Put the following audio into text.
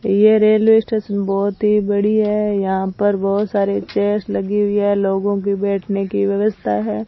यह railway station बहोत ही बड़ी है यहां पर बहोत सारे के चेयर्स लगी हुई है लोगों की बैठने की व्यवस्था है।